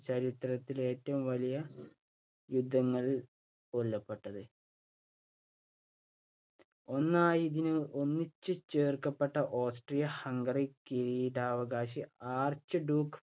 ചരിത്രത്തിലെ ഏറ്റവും വലിയ യുദ്ധങ്ങളിൽ കൊല്ലപ്പെട്ടത്. ഒന്നായ ഇതിനെ ഒന്നിച്ചു ചേർക്കപ്പെട്ട ഓസ്ട്രിയ-ഹംഗറി കിരീടവകാശി ആര്‍ച്ച്ഡ്യൂക്ക്